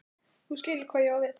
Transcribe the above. þú skilur hvað ég á við.